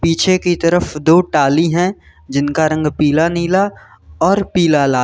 पीछे की तरफ दो टॉली हैं जिनका रंग पीला नीला और पीला लाल--